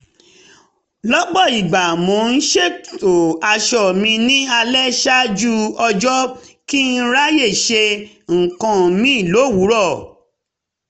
lọ́pọ̀ ìgbà mo ń ṣètò aṣọ mi ní alẹ́ ṣáájú ọjọ́ kí n ráyè ṣe nǹkan míì lówùúrọ̀